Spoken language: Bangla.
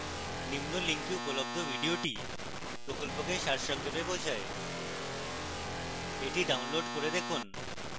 নিম্ন link উপলব্ধ video প্রকল্পকে সারসংক্ষেপে বোঝায় the ডাউনলোড করুন এবং দেখুন